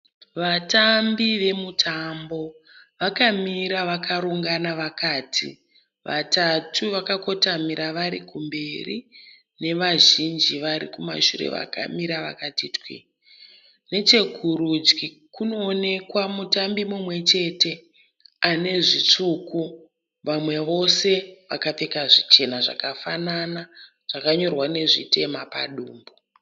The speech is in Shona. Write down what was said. Vatambi vemutambo vakamira vakarongana vakati vatatu vakakotamira varikumberi nevazhinji varikumashure vakamira vakati twii.